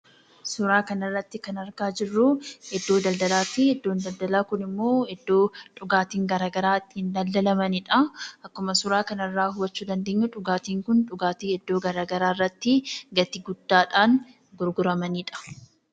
Suuraa kanarratti kan arginuu, iddoo daldalaatii. Iddoon daldalaa kun ammoo, iddoo dhugaatiin adda addaa itti daldalamanidha. Akkuma suuraa kanarraa hubachuu dandeenyu dhugaatiin kun, dhugaatii iddoo garagaraatti gatii guddaadhaan gurguramanidha.